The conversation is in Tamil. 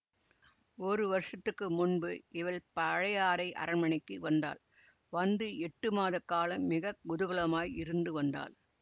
ஒரு வருஷத்துக்கு முன்பு இவள் பழையாறை அரண்மனைக்கு வந்தாள் வந்து எட்டு மாத காலம் மிக குதூகலமாய் இருந்து வந்தாள்